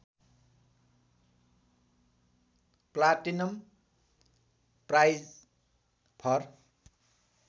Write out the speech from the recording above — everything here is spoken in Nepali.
platinum prize for